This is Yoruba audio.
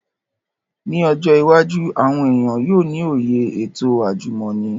Ni ojo iwaju, awọn eniyan yoo ni oye eto ajumọni